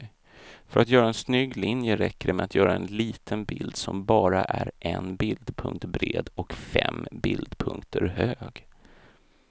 För att göra en snygg linje räcker det med att göra en liten bild som bara är en bildpunkt bred och fem bildpunkter hög.